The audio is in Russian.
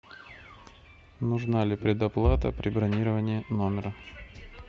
нужна ли предоплата при бронировании номера